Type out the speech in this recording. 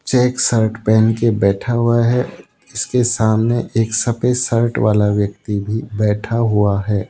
Check shirt पहन के बैठा हुआ है उसके सामने एक सफेद शर्ट वाला व्यक्ति भी बैठा हुआ है।